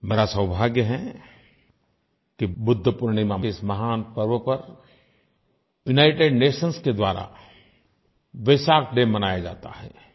मेरा सौभाग्य है कि बुद्ध पूर्णिमा के इस महान पर्व पर यूनाइटेड नेशंस के द्वारा वेसक डे मनाया जाता है